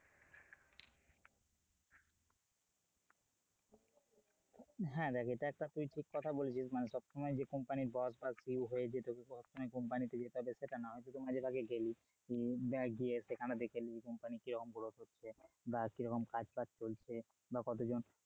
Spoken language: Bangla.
হ্যাঁ দেখ এটা একটা তুই ঠিক কথা বলেছিস মানে সবসময় যে company র boss বা CEO হয়ে যে তোকে সব সময় company তে যেতে হবে সেটা না হয়তো তুমি মাঝে ভাগে গেলি যাক গিয়ে সেখানে দেখে এলি company র কি রকম growth হচ্ছে বা কিরকম কাজ বাজ চলছে বা কতজন,